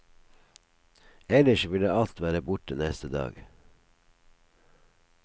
Ellers ville alt være borte neste dag.